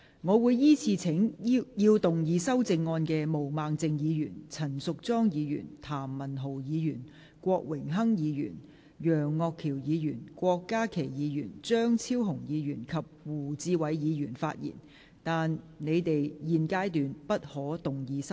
我會依次請要動議修正案的毛孟靜議員、陳淑莊議員、譚文豪議員、郭榮鏗議員、楊岳橋議員、郭家麒議員、張超雄議員及胡志偉議員發言，但他們在現階段不可動議修正案。